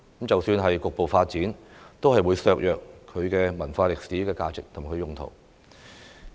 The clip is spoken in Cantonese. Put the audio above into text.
即使局部發展，也會削弱它的文化歷史價值及用途。